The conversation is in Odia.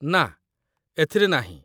ନା, ଏଥିରେ ନାହିଁ।